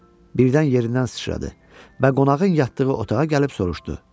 Birdən yerindən sıçradı və qonağın yatdığı otağa gəlib soruşdu.